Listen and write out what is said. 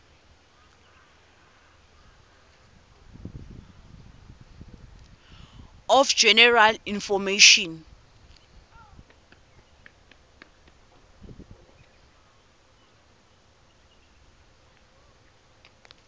of general information